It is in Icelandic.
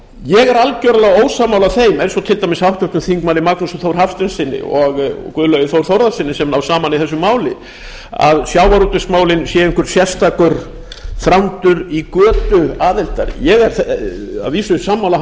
ég er algerlega ósammála þeim eins og til dæmis háttvirtur þingmaður magnúsi þór hafsteinssyni og guðlaugi þór þórðarsyni sem ná saman í þessu máli að sjávarútvegsmálin séu einhver sérstakur þrándur í götu aðildar ég er að vísu sammála